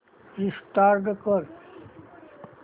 restart कर